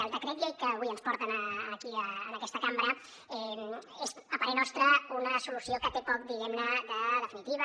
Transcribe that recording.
el decret llei que avui ens porta aquí en aquesta cambra és a parer nostre una solució que té poc diguem ne de definitiva